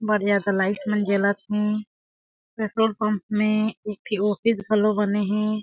बढ़िया से लाइट मन जलत हे पेट्रोल पंप में एक ठी ऑफिस घलों बने हे।